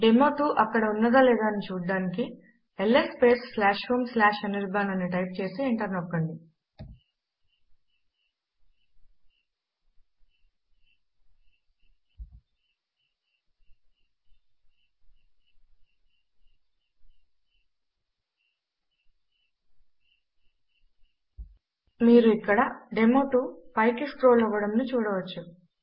డెమో2 అక్కడ ఉన్నదా లేదా అని చూచుటకు ల్స్ స్పేస్ homeanirban అని టైప్ చేసి ఎంటర్ నొక్కండి మీరు ఇక్కడ డెమో2 పైకి స్క్రోల్ అవ్వడమును చూడవచ్చు